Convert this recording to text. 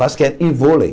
Basquete e vôlei.